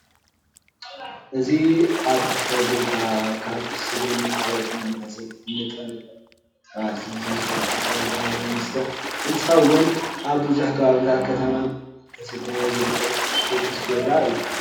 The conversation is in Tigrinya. እዚ አብ ፎብሪካ ካብ ስገምን ካልኦት ተማሳሰልቲ ንጥረ ነገር ብምትሕውዋስ ዝምረት አልኮላዊ መስተ እንትኸውን አብ ብዙሕ ከባብታትን ከተማን እናተሰተየ ዝርከብ ቅዱስ ጊዮርጊስ ቢራ እዩ።